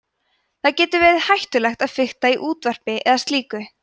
það getur verið hættulegt að fikta í útvarpi eða slíku